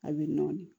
A bɛ nɔɔni